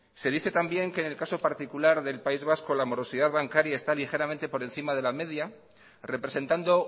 se dice también que en el caso particular del país vasco la morosidad bancaria está ligeramente por encima de la media representando